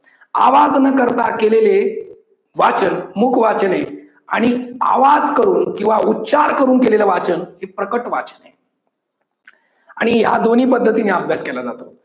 आवाज न करता केलेले वाचन म्हणजेच मुख वाचन आहे आणि आवाज करून किव्वा उच्चार करून केलेलं वाचन म्हणजेच प्रकट वाचन आहे आणि या दोन्ही पद्धतीने अभ्यास केला जातो.